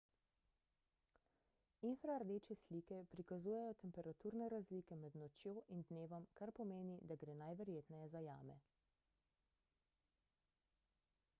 infrardeče slike prikazujejo temperaturne razlike med nočjo in dnevom kar pomeni da gre najverjetneje za jame